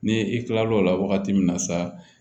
Ni i kilala o la wagati min na sa